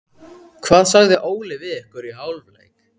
Hvað sagði Óli við ykkur í hálfleik?